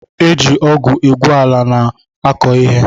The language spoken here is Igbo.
E ji ọgụ egwu ala a na-akọ ihe